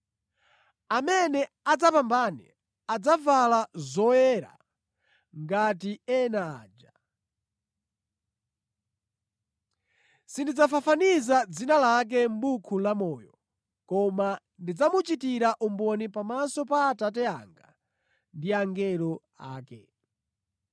Amene adzapambane adzavala zoyera ngati ena aja. Sindidzafafaniza dzina lake mʼbuku lamoyo, koma ndidzamuchitira umboni pamaso pa Atate anga ndi angelo ake.